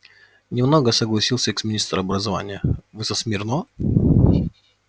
не много согласился экс-министр образования вы со смирно